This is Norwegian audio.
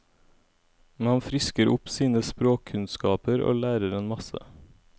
Man frisker opp sine språkkunnskaper og lærer en masse.